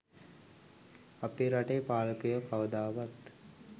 අපේ රටේ පාලකයෝ කවදාවත්